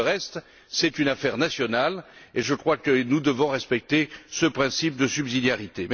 Pour le reste, c'est une affaire nationale, et je crois que nous devons respecter ce principe de subsidiarité.